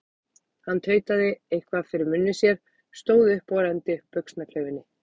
Hann tautaði eitthvað fyrir munni sér, stóð upp og renndi upp buxnaklaufinni.